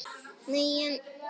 Nei, en.